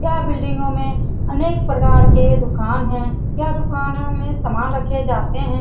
यह बिल्डिंगो में अनेक प्रकार के दुकान है यह दुकान में सामान रखे जाते हैं।